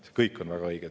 See kõik on teil väga õige.